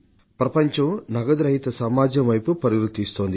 ప్రపంచం నగదు రహిత వ్యవస్థ వైపు పరుగులు తీస్తోంది